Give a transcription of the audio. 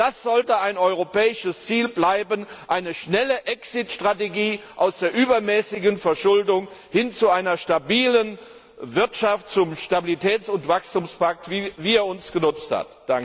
Das sollte ein europäisches Ziel bleiben eine schnelle Exit Strategie aus der übermäßigen Verschuldung hin zu einer stabilen Wirtschaft, zum Stabilitäts und Wachstumspakt, wie er uns genützt hat.